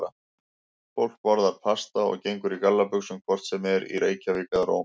Fólk borðar pasta og gengur í gallabuxum hvort sem er í Reykjavík eða Róm.